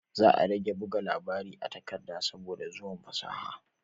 Za a rage buga labari a takarda saboda zuwan fasaha